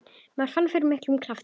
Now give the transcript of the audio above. Maður fann fyrir miklum krafti.